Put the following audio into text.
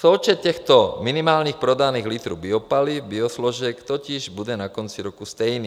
Součet těchto minimálních prodaných litrů biopaliv - biosložek - totiž bude na konci roku stejný.